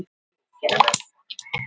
Því verður þó ekki breytt